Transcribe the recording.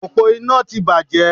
Òpó iná ti bàjẹ́